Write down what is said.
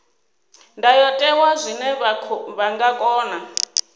ndayotewa zwine vha nga kona